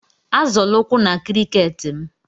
Azọla ụkwụ na cricket m.